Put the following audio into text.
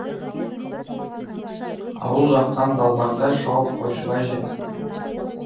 ауыл жақтан далбақтай шауып қойшыбай жетсін